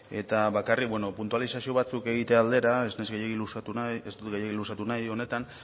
eta bakarrik beno puntualizazio batzuk egitea aldera ez naiz gehiegi luzatu nahi ez dut gehiegi luzatu nahi honetan